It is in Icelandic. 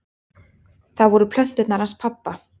Það voru plöturnar hans pabba.